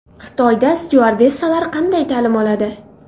Xitoyda styuardessalar qanday ta’lim oladi?